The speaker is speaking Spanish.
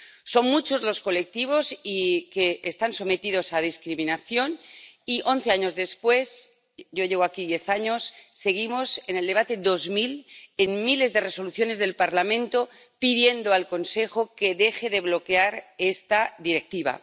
Son muchos los colectivos que están sometidos a discriminación y, once años después —yo llevo aquí diez años—, seguimos en el debate dos mil, tras miles de resoluciones del Parlamento en las que se pide al Consejo que deje de bloquear esta Directiva.